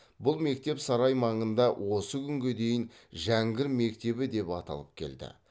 бұл мектеп сарай маңында осы күнге дейін жәңгір мектебі деп аталып келді